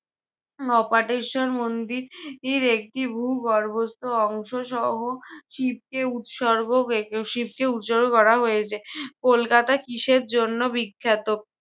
অপাটেশ্বর মন্দির আহ একটি ভূগর্ভস্থ অংশসহ শিবকে উৎসর্গ শিবকে উৎসর্গ করা হয়েছে। কলকাতা কিসের জন্য বিখ্যাত?